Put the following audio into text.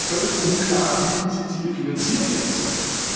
Es bleibt auch völlig unklar, wie diese Ziele finanziert werden sollen.